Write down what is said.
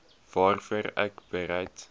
waarvoor ek bereid